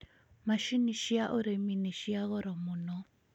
Macini cia ũrĩmi nĩ cia goro mũno